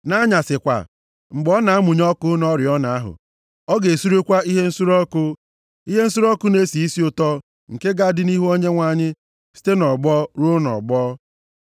Nʼanyasị kwa, mgbe ọ na-amụnye ọkụ nʼoriọna ahụ, ọ ga-esurekwa ihe nsure ọkụ. Ihe nsure ọkụ na-esi isi ụtọ nke ga-adị nʼihu Onyenwe anyị site nʼọgbọ ruo nʼọgbọ.